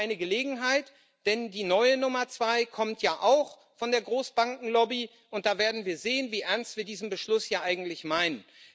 Und wir haben eine Gelegenheit, denn die neue Nummer zwei kommt ja auch von der Großbankenlobby, und da werden wir sehen, wie ernst wir diesen Beschluss hier eigentlich meinen.